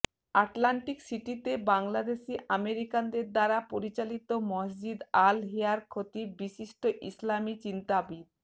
Atlantic সিটিতে বাংলাদেশী আমেরিকানদের দ্বারা পরিচালিত মসজিদ আল হেরার খতিব বিশিষ্ট ইসলামী চিন্তাবিদ